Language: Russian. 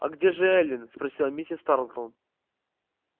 а где же эллин спросила миссис тарлтон